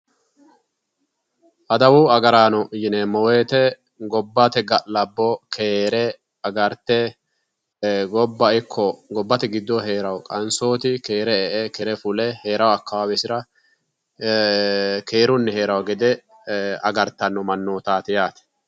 Adawu agaraano yineemmo woyiite gobbate ga'labbo keere agarte, gobba ikko gobbate giddoonni heerawo qansooti keere heerawo heerawo akkawaawesira keerunni heerawo gede agartanno mannootaati yaate.